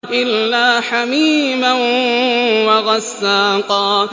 إِلَّا حَمِيمًا وَغَسَّاقًا